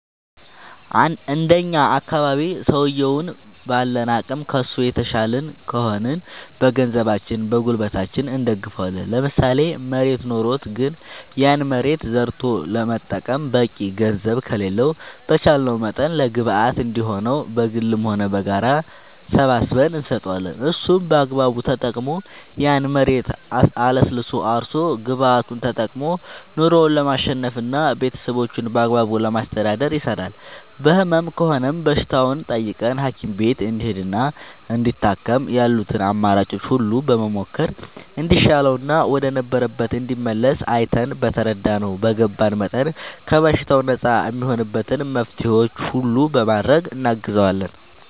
እንደኛ አካባቢ ሠውየዉን ባለን አቅም ከሡ የተሻልን ከሆንን በገንዘባችን በጉልበታችን እንደግፈዋለን ለምሳሌ መሬት ኖሮት ግን ያን መሬት ዘርቶ ለመጠቀም በቂ ገንዘብ ከሌለው በቻለንው መጠን ለግብአት እንዲሆነው በግልም ሆነ በጋራ ሰባስበን እንሰጠዋለን እሱም በአግባቡ ተጠቅሞ ያን መሬት አለስልሶ አርሶ ግብዓቱን ተጠቅሞ ኑሮው ለማሸነፍና ቤተሠቦቹን በአግባቡ ለማስተዳደር ይሰራል በህመም ከሆነም በሽታውን ጠይቀን ሀኪም ቤት እንዲሄድና እንዲታከም ያሉትን አማራጮች ሁሉ በመሞከር እንዲሻለውና ወደ ነበረበት እንዲመለስ አይተን በተረዳነው በገባን መጠን ከበሽታው ነፃ እሚሆንበትን መፍትሔዎች ሁሉ በማድረግ እናግዘዋለን